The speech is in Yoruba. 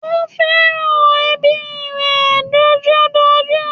Ó fẹ́ràn ẹbí rẹ̀ dojúdojú